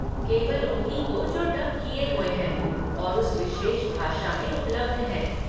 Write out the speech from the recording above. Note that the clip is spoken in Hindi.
केवल उन्हीं को जो डब किए हुए हैं और उस विशेष भाषा में उपलब्ध हैं।